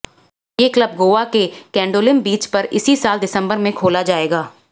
ये क्लब गोवा के केंडोलिम बीच पर इसी साल दिसंबर में खोला जाएगा